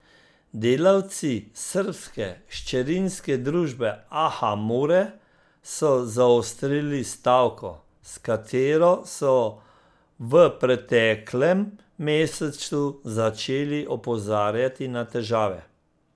Delavci srbske hčerinske družbe Aha Mure so zaostrili stavko, s katero so v preteklem mesecu začeli opozarjati na težave.